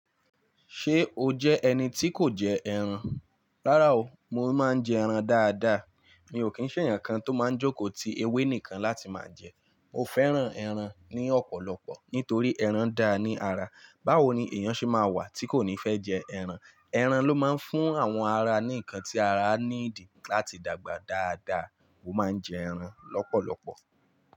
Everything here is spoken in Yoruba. Ṣé o jẹ́ ẹni tí kò jẹ ẹran? Rárá o, mo máa ń jẹ ẹran dáadáa. Mi ò kí ń sẹ̀ ènìyàn kan tó máa ń jókòó ti ewé nìkan láti máa jẹ. Mo fẹ́ràn ẹran ní ọ̀pọ̀lọpọ̀ nítorí ẹran da ni ara. Báwo ni èèyàn ṣe máa wà tí kò ní fẹ́ jẹ ẹran? Ẹran ló máa ń fún àwọn ara ní nǹkan tí ara ní dì láti dàgbà dáadáa. Mo máa ń jẹ ẹran lọ́pọ̀lọpọ̀.